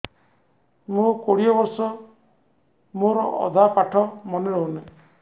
ମୋ କୋଡ଼ିଏ ବର୍ଷ ମୋର ଅଧା ପାଠ ମନେ ରହୁନାହିଁ